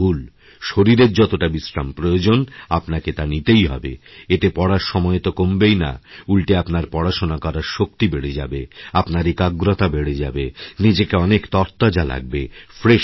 শরীরের যতটা বিশ্রাম প্রয়োজন আপনাকে তা নিতেই হবে এতে পড়ার সময় তোকমবেই না উলটে আপনার পড়াশোনা করার শক্তি বেড়ে যাবে আপনার একাগ্রতা বেড়ে যাবেনিজেকে অনেক তরতাজা লাগবে ফ্রেশ লাগবে